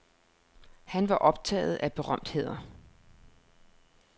Han var optaget af berømtheder.